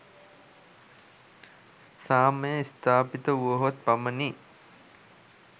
සාමය ස්ථාපිත වුවහොත් පමණි.